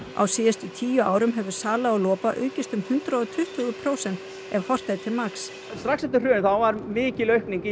á síðustu tíu árum hefur sala á lopa aukist um hundrað og tuttugu prósent ef horft er til magns strax eftir hrun var mikil aukning í